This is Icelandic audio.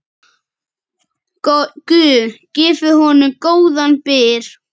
Guð gefi honum góðan byr.